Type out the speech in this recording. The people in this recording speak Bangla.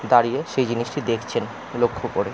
দাঁড়িয়ে সেই জিনিসটি দেখছেন লক্ষ্য করে ।